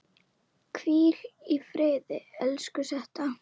Hvíl í friði, elsku Setta.